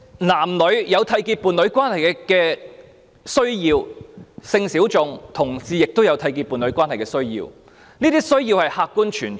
男女有締結伴侶關係的需要，性小眾人士和同志亦有締結伴侶關係的需要，這些需要是客觀存在的。